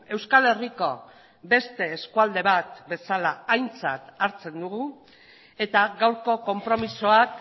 euskal herriko beste eskualde bat bezala aintzat hartzen dugu eta gaurko konpromisoak